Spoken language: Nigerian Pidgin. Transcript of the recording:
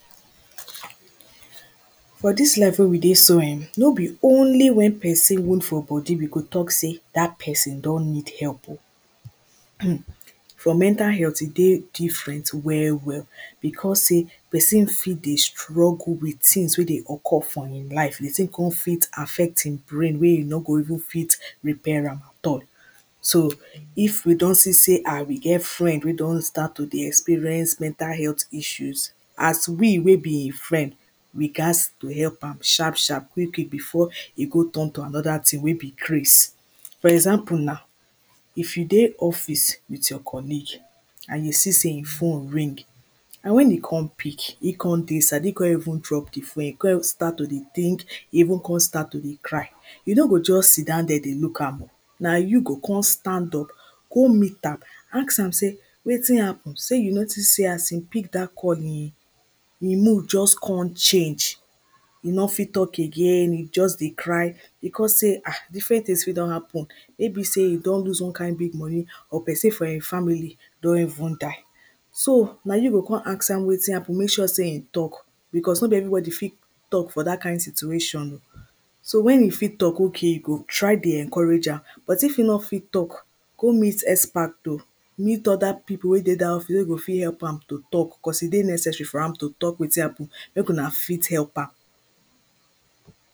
for dis life wey we dey so um no be only wen pesin wound for body we go talk say dat pesin don need help o um for mental health e dey different well well bikos say pesin fit dey struggle with tins wey dey occur for him life de tin cum fit affect him brain wey him no go even fit repair am at all. so if we don see say um we get friend wey don start to dey experience mental health issues as we wey be him friend we gatz to help am sharp sharp quick quick before e go turn to another thing wey be craze for example na if you dey office with your colleague and you see say him phone ring and wen he come pick, he come dey sad, he come even drop de phone, he come even start to dey think even come start to dey cry. You no go just sit down there dey look am na you go come stand up go meet am ask am say wetin happen, say you notice say as him pick dat call him him mood just come change he no fit talk again, he just dey cry because say um different things fit don happen wey be say e don loose one kind big money or pesin for him family don even die so na you go come ask am wetin happen, make sure say him talk because no be everybody fit talk for dat kind situation o so wen e fit talk okay, you go try dey encourage am. but if he no fit talk, go meet expert o meet other people wey dey dat field wey go fit help am to talk cause e dey necessary for am to talk wetin happen make una fit help am